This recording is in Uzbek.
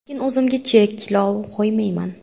Lekin o‘zimga cheklov qo‘ymayman.